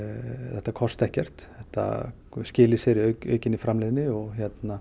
þetta kosti ekkert og þetta skili sér í aukinni framleiðni og